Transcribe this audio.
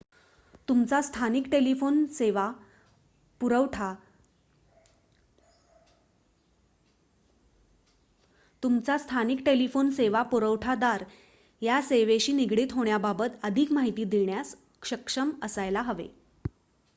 तुमचा स्थानिक टेलिफोन सेवा पुरवठा दार या सेवेशी निगडीत होण्याबाबत अधिक माहिती देण्यास सक्षम असायला हवा